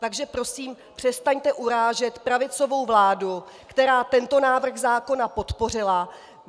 Takže prosím přestaňte urážet pravicovou vládu, která tento návrh zákona podpořila.